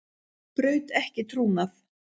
Braut ekki trúnað